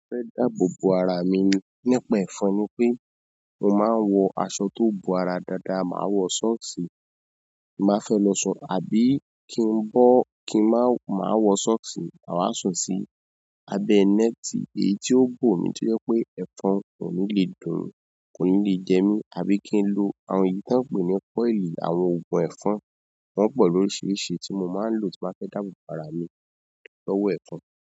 Mo fẹ́ dáàbò bo ara mi nípa ẹ̀fọn ni pé mo máa ń wọ aṣọ tó bo ara dáadáa, màá wọ sọ́ọ̀ksì tí n ba fẹ́ lọ sùn àbí kí ń bọ́ kí n má, má wọ sọ́ọ̀ksì màá sùn sí abẹ nẹ́ẹ̀tì èyí ó bó mi tó jẹ́ pé ẹ̀fọn kò ní le dùn mí, kò ní le jẹ mí àbí kí n lo àwọn èyí tí wọ́n ń pè ní coil, àwọn oògùn ẹ̀fọn, wọ́n pọ̀ lóríṣiríṣi tí mo máa ń lò tí má fẹ́ dáàbò bo ara mi lọ́wọ́ ẹ̀fọn.